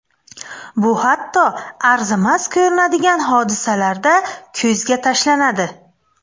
Bu hatto arzimas ko‘rinadigan hodisalarda ko‘zga tashlanadi.